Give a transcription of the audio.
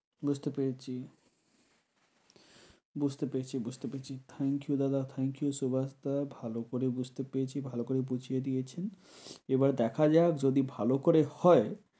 বুঝতে পেরেছি, বুঝতে পেরেছি বুঝতে পেরেছি thank you দাদা thank you শুভা দাদা ভালো করে বুঝতে পেরেছি ভালো করে বুঝিয়ে দিয়েছেন। এবার দেখা যাক যদি ভালো করে হয়